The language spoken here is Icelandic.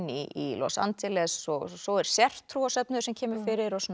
í Los Angeles svo er sértrúarsöfnuður sem kemur fyrir og